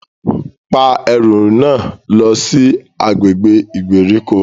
Pa ẹru náà lọ si agbègbè ìgbèríko!